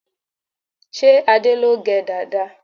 Ṣé Adé ló gẹ dàda?